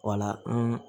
Wala